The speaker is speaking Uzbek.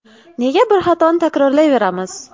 Nega bir xatoni takrorlayveramiz?